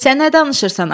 Sən nə danışırsan?